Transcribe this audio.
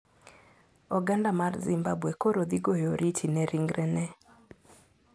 Oganda mar Zimbabwe koro dhi goyo oriti ne ringrene